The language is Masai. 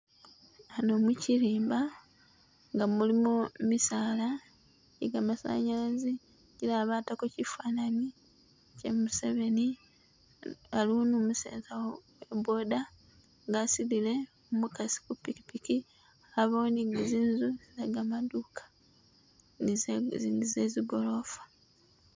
Hano mukilimba nga mulimu misaala gye kamasanyalazi, kilala batako kyifananyi kya Museveni, aliwo ni umuseza wa wa boda nga asudile umukasi ku pikipiki, abawo ni zinzu ze kamaduka nize nize zigolofa